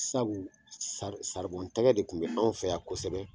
Sabu tɛgɛ de kun bɛ anw fɛ yan kosɛbɛ